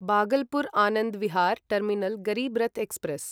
Bhagalpur Anand Vihar terminal Garib Rath express